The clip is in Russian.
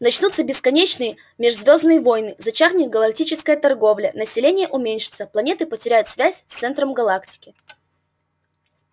начнутся бесконечные межзвёздные войны зачахнет галактическая торговля население уменьшится планеты потеряют связь с центром галактики